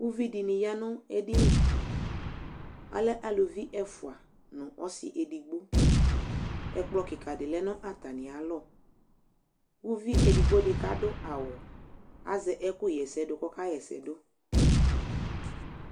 ωvidiniyɑ nu ɛdini ɑlé ɑlé ɑluvi ɛfoua ɛkplo kika lénatamialɔ ouvi edigbodi kadu ɑwu ɑzé ɛkuhésedu kɔkahése